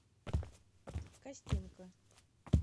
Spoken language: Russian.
костенко